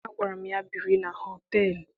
Agwara m ya, biri na họteelụ!